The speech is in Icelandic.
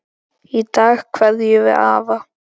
Í dag kveðjum við afa.